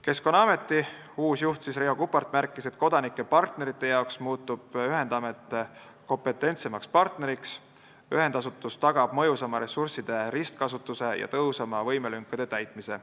Keskkonnaameti uus juht Riho Kuppart märkis, et kodanike ja partnerite jaoks muutub ühendamet kompetentsemaks partneriks, ühendasutus tagab mõjusama ressursside ristkasutuse ja tõhusama võimelünkade täitmise.